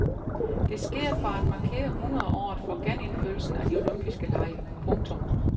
Det sker for at markere hundredeåret for genindførelsen af de olympiske dage. punktum